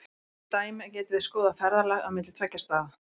Sem dæmi getum við skoðað ferðalag á milli tveggja staða.